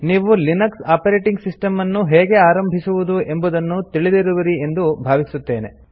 ನೀವು Linux operating system ಅನ್ನು ಹೇಗೆ ಆರಂಭಿಸುವುದು ಎಂಬುದನ್ನು ತಿಳಿದಿರುವಿರಿ ಎಂದು ಭಾವಿಸುತ್ತೇವೆ